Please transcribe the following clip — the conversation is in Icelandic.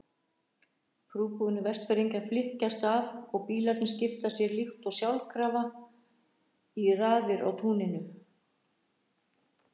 Prúðbúnir Vestfirðingar flykkjast að og bílarnir skipa sér líkt og sjálfkrafa í raðir á túninu.